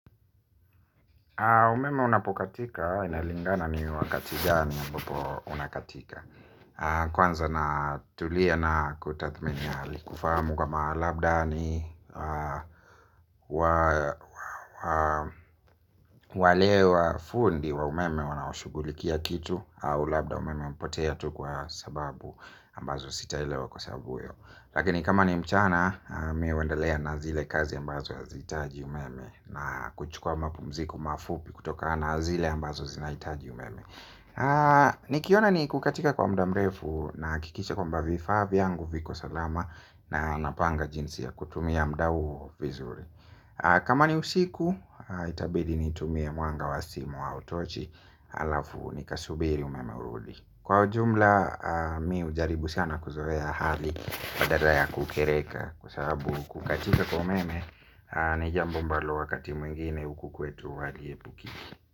Umeme unapokatika unalingana ni wakati gani ambapo unakatika. Kwanza natulia na kutathmini hali kufahamu kama labda ni wale wa fundi wa umeme wanaoshughulikia kitu. Au labda umeme umpotea tu kwa sababu ambazo sitaelewa kwa sababu hiyo. Lakini kama ni mchana mi huendelea na zile kazi ambazo hazihitaji umeme. Na kuchukua mapumziko mafupi kutokana na zile ambazo zinahitaji umeme. Nikiona ni kukatika kwa muda mrefu nahakikisha kwamba vifaa vyangu viko salama na napanga jinsi ya kutumia muda huo vizuri. Kama ni usiku itabidi nitumie mwanga wa simu au tochi alafu nikasubiri umeme urudi. Kwa ujumla mi hujaribu sana kuzoea hali badala ya kukereka. Kwa sababu kukatika kwa umeme ni jambo ambalo wakati mwingine huku kwetu haliepukiki.